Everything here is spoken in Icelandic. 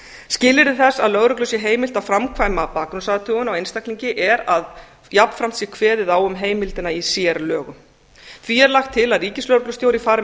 skilyrði þess að lögreglu sé heimilt að framkvæma bakgrunnsathugun á einstaklingi er að jafnframt sé kveðið á um heimildina í sérlögum því er lagt til að ríkislögreglustjóri fari með